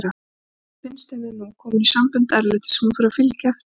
Enda finnst henni hún nú komin í sambönd erlendis sem hún þurfi að fylgja eftir.